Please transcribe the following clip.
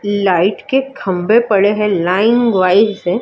light के खंभे पड़े हैं लाइन वाइज --